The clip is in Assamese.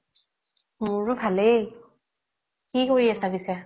মোৰো ভালেই কি কৰি আছা পিছে